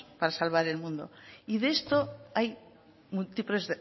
para salvar el mundo y de esto hay múltiples